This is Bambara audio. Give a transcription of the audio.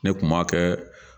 Ne kuma kɛ